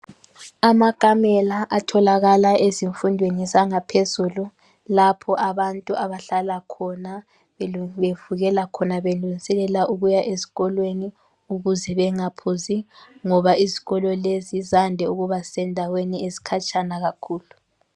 Amakamela atholakala ezifundweni zangaphezulu lapho abantu abahlala khona bevukela khona belungiselela ukuya ezikolweni ukuze bengaphuzi ngoba izikolo lezi zande ukuba sendaweni ezikhatshana kakhulu.